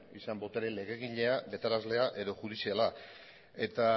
izan botere legegilea betearazlea edo judiziala eta